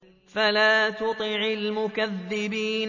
فَلَا تُطِعِ الْمُكَذِّبِينَ